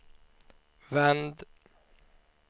vänd